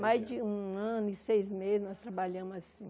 Mais de um ano e seis meses nós trabalhamos assim.